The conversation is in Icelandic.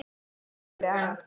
Hún þagði en